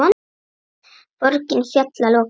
Borgin féll að lokum.